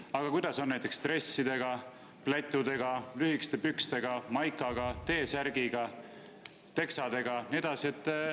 Aga kuidas on näiteks dressidega, plätudega, lühikeste pükstega, maikaga, T‑särgiga, teksadega ja nii edasi?